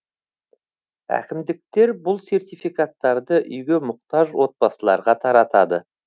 әкімдіктер бұл сертификаттарды үйге мұқтаж отбасыларға таратады